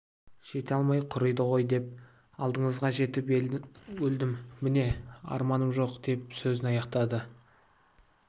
жете алмай құриды ғой деп алдыңызға жетіп өлдім міне арманым жоқ деп сөзін аяқтады